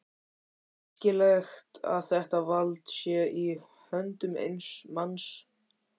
Er æskilegt að þetta vald sé í höndum eins manns?